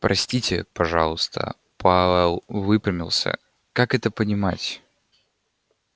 простите пожалуйста пауэлл выпрямился как это понимать